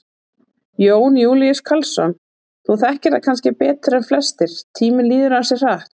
Jón Júlíus Karlsson: Þú þekkir það kannski betur en flestir, tíminn líður ansi hratt?